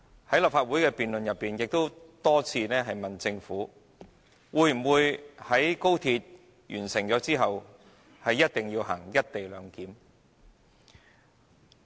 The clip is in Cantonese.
在立法會辯論中，議員也多次問及政府會否在高鐵完工後實行"一地兩檢"。